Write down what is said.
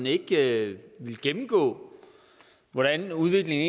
ikke ville gennemgå hvordan udviklingen